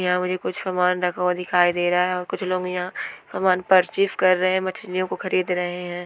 यहाँ मुझे कुछ सामान रखा हुआ दिखाई दे रहा है और कुछ लोग यहाँ सामान परचेस कर रहे हैं मछलीओ को खरीद रहे हैं।